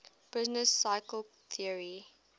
business cycle theory